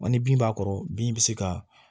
Ni bin b'a kɔrɔ bin bɛ se ka